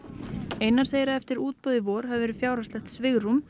einar segir að eftir útboð í vor hafi verið fjárhagslegt svigrúm